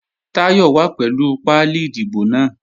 Táyọ̀ wà pẹ̀lú pálí ìdìbò náà